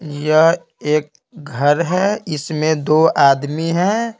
यह एक घर है इसमें दो आदमी हैं।